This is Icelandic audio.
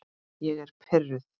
Ég er pirruð.